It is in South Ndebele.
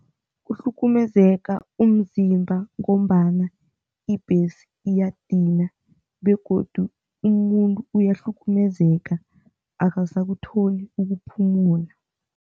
Kuhlukumezeka umzimba ngombana ibhesi iyadinwa begodu umuntu uyahlukumezeka, akasakutholi ukuphumula.